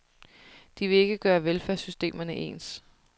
De vil ikke gøre velfærdssystemerne ens.